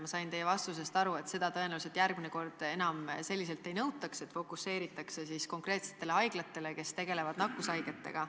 Ma sain teie vastusest aru, et seda tõenäoliselt järgmine kord enam nii üheselt ei nõutaks, et fokuseeritakse konkreetsetele haiglatele, kes tegelevad nakkushaigetega.